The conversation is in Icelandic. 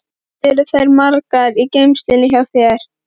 Hvað eru þær margar í geymslunum hjá þér?